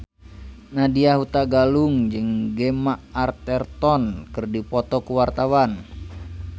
Nadya Hutagalung jeung Gemma Arterton keur dipoto ku wartawan